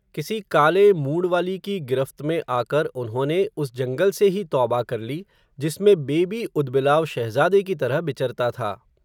किसी काले, मूंड़वाली की गिरफ़्त में आकर उन्होंने, उस जंगल से ही तौबा कर ली, जिसमें बेबी ऊदबिलाव शहज़ादे की तरह बिचरता था